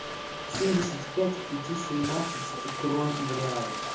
семьдесят пять пяти семнадцать крон в реалах